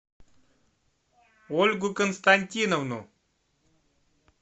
ольгу константиновну